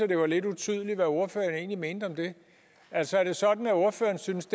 det var lidt utydeligt hvad ordføreren egentlig mente om det altså er sådan at ordføreren synes